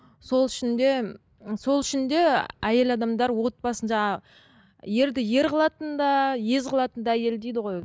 сол үшін де сол үшін де әйел адамдар отбасын жаңа ерді ер қылатын да ез қылатын да әйел дейді ғой